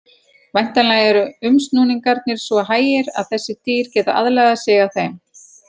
Væntanlega eru umsnúningarnir svo hægir að þessi dýr geti aðlagað sig að þeim.